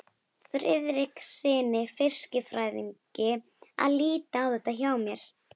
Friðrikssyni fiskifræðingi að líta á þetta hjá mér.